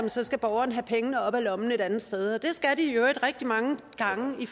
så skal borgeren have pengene op af lommen et andet sted det skal de i øvrigt rigtig mange gange i